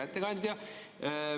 Hea ettekandja!